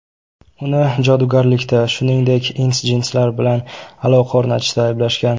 Uni jodugarlikda, shuningdek, ins-jinslar bilan aloqa o‘rnatishda ayblashgan.